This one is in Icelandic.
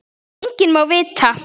Enginn má það vita.